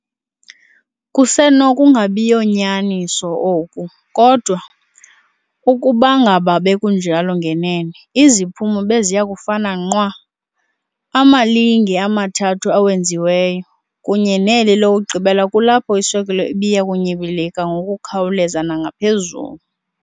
Kusenokunabiyo nyaniso oku, kodwa ukubangaba bekunjalo ngenene, iziphumo beziyakufana nqwa- amalinge amathathu awenziweyo, kunye neli lokugqibela kulapho iswekile ibiyakunyibilika ngokukhawuleza nangaphezulu.